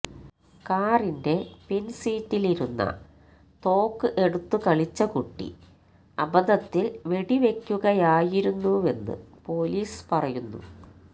കാറിന്റെ പിൻസീറ്റിലിരുന്ന തോക്ക് എടുത്തു കളിച്ച കുട്ടി അബദ്ധത്തിൽ വെടിവയ്ക്കുകയായിരുന്നുവെന്ന് പൊലീസ് പറയുന്നു